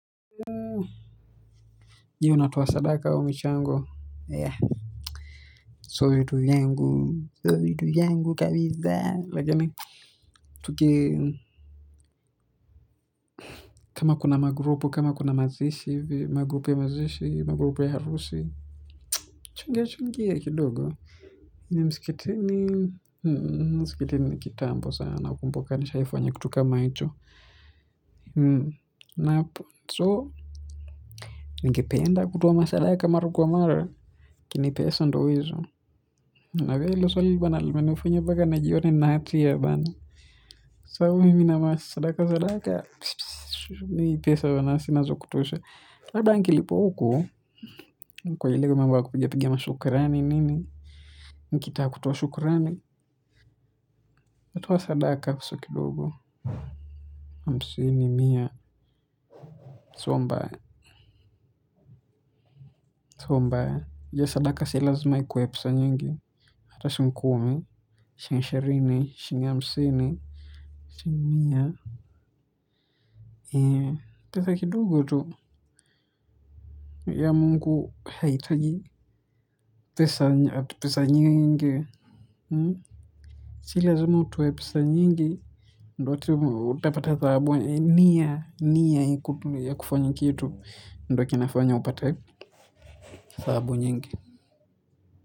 Je unatoa sadaka au michango. Sio vitu vangu. Sio vitu vyangu kabiza. Tuki. Kama kuna magrupu kama kuna mazishi, magrupu ya mazishi, magrupu ya harusi. Chungia chungia kidogo ni mskitini. Mskitini kitambo sana. Ukumbuka ni shaifu wanya kitu kama icho na so. Ningependa kutoa masadaka mara kwa mara. Kini pesa ndo hizo. Na vya ilo swli wanalimani ufinyo baka na jione na hatia bana. Sao miminamasa sadaka sadaka Psss pss Ni pesa hiyo na sina zo kutushe. Saba nkilipoku kwa hilego mamba kupijapigia mashukarani nini. Nkitaka kutoa shukarani. Natoa sadaka kusokidogo. Amsini mia. Sombaya sombaya hiyo sadaka silazima ikuwe pesa nyingi. Hata shing kumi. Shing ishirini. Shinga amsini shing mia. Pesa kidugo tu ya mungu haitaji pesa ati pesa nyingi. Silazima utowe pesa nyingi. Ndo utapata thabu nia nia ikutu ya kufanyi kitu. Ndwa kinafanya upata thabu nyingi.